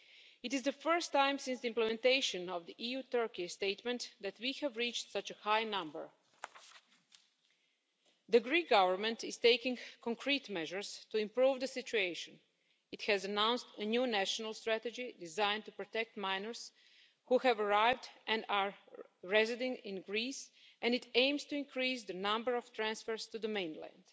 It is the first time since the implementation of the EU Turkey statement that we have reached such a high number. The Greek government is taking concrete measures to improve the situation. It has announced a new national strategy designed to protect minors who have arrived and who are resident in Greece and it aims to increase the number of transfers to the mainland.